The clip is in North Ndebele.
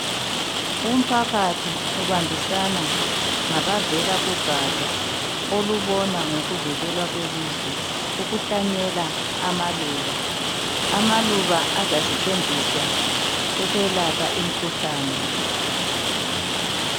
Umphakathi ubambisana ngabavela kugatsha olubona ngokuvikela kwelizwe ikuhlanyela amaluba amaluba azasetshenziswa ukwelapha imikhuhlani